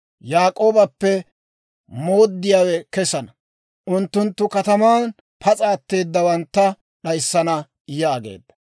Yaak'oobappe mooddiyaawe kesana; unttunttu kataman pas'a atteedawantta d'ayissana» yaageedda.